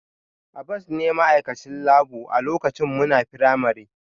Abbas ne ma'aikacin labour a lokacin muna firamare